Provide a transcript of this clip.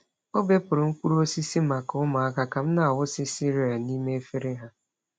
Ọ bepụrụ mkpụrụ osisi maka ụmụaka ka m na-awụsị cereal n’ime efere ha.